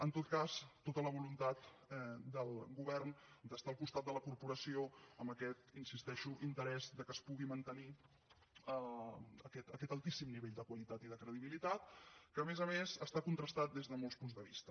en tot cas tota la voluntat del govern d’estar al costat de la corporació amb aquest hi insisteixo interès que es pugui mantenir aquest altíssim nivell de qualitat i de credibilitat que a més a més està contrastat des de molts punts de vista